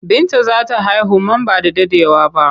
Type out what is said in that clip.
Binta za ta haihu man ba da daɗewa ba.